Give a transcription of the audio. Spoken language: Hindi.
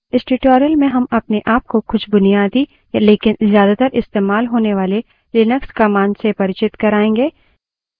इस tutorial में हम अपने आप को कुछ बुनियादी लेकिन ज्यादातर इस्तेमाल होने वाले लिनक्स commands से परिचित कराएँगे